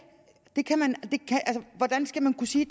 hvordan skal man kunne sige